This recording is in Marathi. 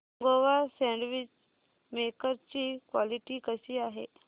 नोवा सँडविच मेकर ची क्वालिटी कशी आहे